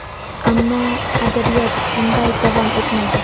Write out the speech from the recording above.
Ammo adabiyot bunday davom etmaydi.